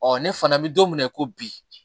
ne fana bɛ don min na ko bi